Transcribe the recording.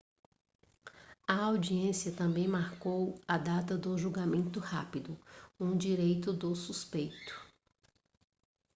a audiência também marcou a data do julgamento rápido um direito do suspeito